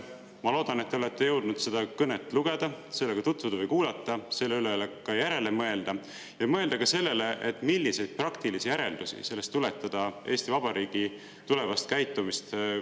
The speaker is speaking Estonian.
Ma loodan, et te olete jõudnud seda kõnet lugeda, sellega tutvuda või seda kuulata, selle üle järele mõelda, ja mõelda ka sellele, milliseid praktilisi järeldusi sellest võiks tuletada Eesti Vabariigi tulevast käitumist planeerides.